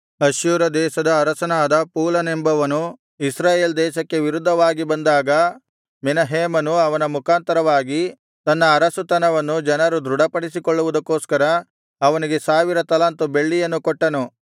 ಅಶ್ಶೂರ ದೇಶದ ಅರಸನಾದ ಪೂಲನೆಂಬವನು ಇಸ್ರಾಯೇಲ್ ದೇಶಕ್ಕೆ ವಿರುದ್ಧವಾಗಿ ಬಂದಾಗ ಮೆನಹೇಮನು ಅವನ ಮುಖಾಂತರವಾಗಿ ತನ್ನ ಅರಸುತನವನ್ನು ಜನರು ದೃಢಪಡಿಸಿಕೊಳ್ಳುವುದಕ್ಕೋಸ್ಕರ ಅವನಿಗೆ ಸಾವಿರ ತಲಾಂತು ಬೆಳ್ಳಿಯನ್ನು ಕೊಟ್ಟನು